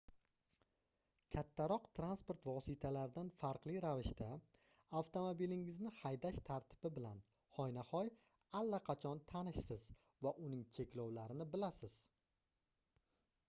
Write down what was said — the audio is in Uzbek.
kattaroq transport vositalaridan farqli ravishda avtomobilingizni haydash tartibi bilan hoynahoy allaqachon tanishsiz va uning cheklovlarini bilasiz